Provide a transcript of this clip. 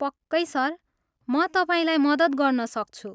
पक्कै सर, म तपाईँलाई मद्दत गर्न सक्छु।